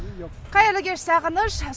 қайырлы кеш сағыныш